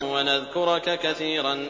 وَنَذْكُرَكَ كَثِيرًا